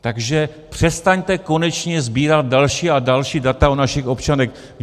Takže přestaňte konečně sbírat další a další data o našich občanech.